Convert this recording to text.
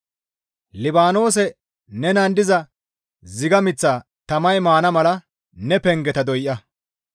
Libaanoose nenan diza ziga miththaa tamay maana mala ne pengeta doya.